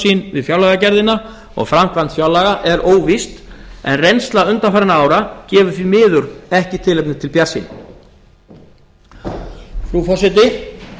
sín við fjárlagagerðina og framkvæmd fjárlaga er óvíst en reynsla undanfarinna ára gefur því miður ekki tilefni til bjartsýni frú forseti